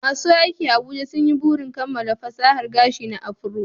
Masu aski a Abuja sun yi burin kammala fasahar aski na afro